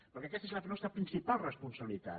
perquè aquesta és la nostra principal responsabilitat